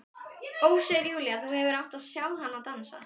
Ó, segir Júlía, þú hefðir átt að sjá hana dansa!